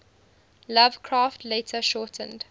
lovecraft later shortened